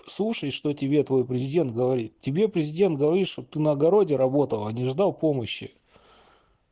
слушай что тебе твой президент говорит тебе президент говорит чтоб ты на огороде работал а не ждал помощи